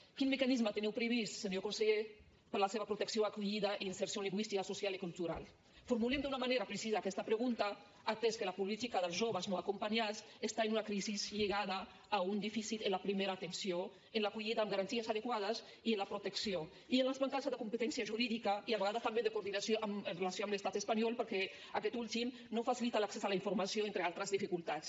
quin mecanisme teniu previst senyor conseller per a la seva protecció acollida i inserció lingüística social i cultural formulem d’una manera precisa aquesta pregunta atès que la política dels joves no acompanyats està en una crisi lligada a un dèficit en la primera atenció en l’acollida amb garanties adequades i en la protecció i en les mancances de competència jurídica i a vegades també de coordinació amb relació a l’estat espanyol perquè aquest últim no facilita l’accés a la informació entre altres dificultats